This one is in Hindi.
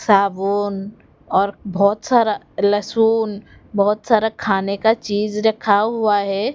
साबुन और बहोत सारा लशून बहोत सारा खाने का चीज रखा हुआ है।